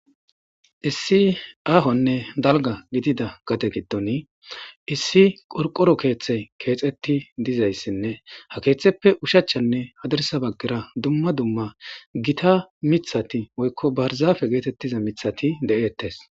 Issi ahonne dalgga gidida gade gidon issi qorqqoro keeththy kexiti de'izayssanne ha keeththeppe oshachanne hadirssa bagara dumma dumma Gita miiththati woykko barzzafe getetiza miiththati de'etes.